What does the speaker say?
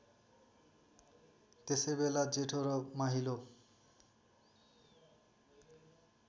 त्यसैबेला जेठो र माहिलो